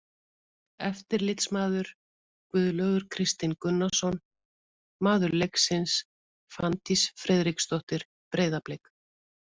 Eftirlitsmaður: Guðlaugur Kristinn Gunnarsson Maður leiksins: Fanndís Friðriksdóttir, Breiðablik.